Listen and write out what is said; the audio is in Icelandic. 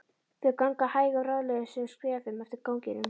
Þau ganga hægum, ráðleysislegum skrefum eftir ganginum.